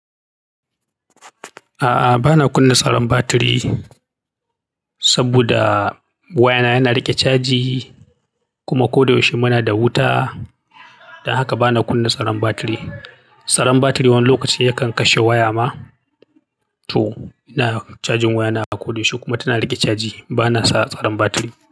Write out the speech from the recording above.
A'a, ba na kunna tsaron batiri saboda wayana yana riƙe caji kuma kodayaushe muna da wuta. Don haka ba na kunna tsaron batiri. Tsaron batiri wani lokaci yakan kashe waya ma. To, ina cajin wayana a kodayaushe kuma tana riƙe caji. Ba na sa tsaron batiri.